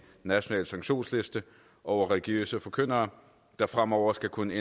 national sanktionsliste over religiøse forkyndere der fremover skal kunne